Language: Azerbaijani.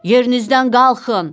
Yerinizdən qalxın!